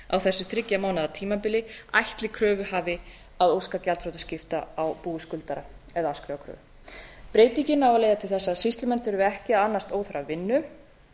á þessu þriggja mánaða tímabili ætli kröfuhafi að óska gjaldþrotaskipta á búi skuldara eða afskrifa kröfu breytingin á að leiða til þess að sýslumenn þurfi ekki að annast óþarfa vinnu